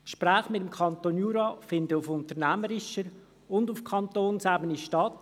Die Gespräche mit dem Kanton Jura finden auf unternehmerischer und auf kantonaler Ebene statt.